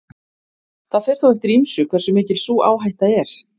það fer þó eftir ýmsu hversu mikil sú áhætta er